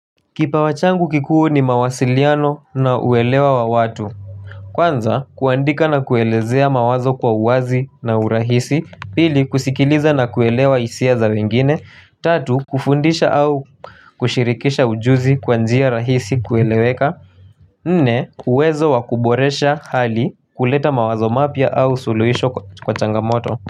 Kipawa changu kikuu ni mawasiliano na uelewa wa watu. Kwanza, kuandika na kuelezea mawazo kwa uwazi na urahisi. Pili, kusikiliza na kuelewa hisia za wengine. Tatu, kufundisha au kushirikisha ujuzi kwa njia rahisi kueleweka. Nne, uwezo wakuboresha hali kuleta mawazo mapya au suluhisho kwa changamoto.